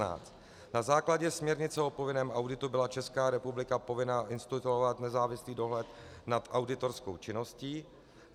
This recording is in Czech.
Na základě směrnice o povinném auditu byla Česká republika povinna instituovat nezávislý dohled nad auditorskou činností.